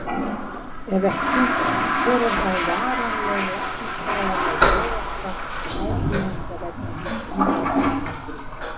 Ef ekki, hver er þá varanleg læknisfræðileg örorka áfrýjanda vegna hins umrædda atburðar?